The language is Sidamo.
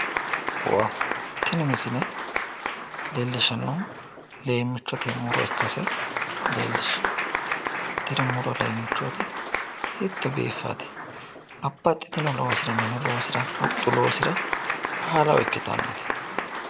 Tini misile leellishshannohu lemmichote muro ikkase leellishshanno, tini muro leemmichoti hiitto biiffate babbaxxitino loosira minu loosira huxxu loosira baalaho ikkitannote.